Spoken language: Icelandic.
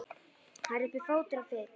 Það er uppi fótur og fit.